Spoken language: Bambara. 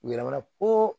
U yɛlɛmana po